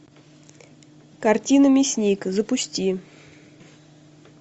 картина мясник запусти